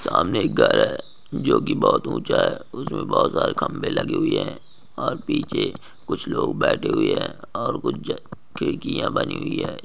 सामने एक घर है जो कि बहुत उँचा है उसमे बहुत सारी खंबे लगी हुई है और पिछे कुछ लोग बैठे हुई है और कुछ खिड्किया बनी हुई है।